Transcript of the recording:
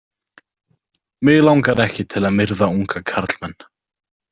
Mig langar ekki til að myrða unga karlmenn.